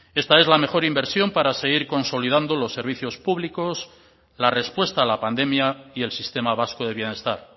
esta es la mejor inversión para seguir consolidando los servicios públicos la respuesta a la pandemia y el sistema vasco de bienestar